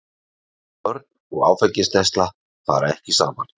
Börn og áfengisneysla fara ekki saman.